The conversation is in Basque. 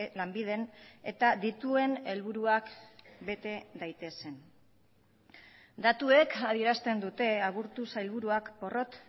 lanbiden eta dituen helburuak bete daitezen datuek adierazten dute aburto sailburuak porrot